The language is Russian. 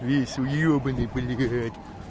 весь вьёбанный блять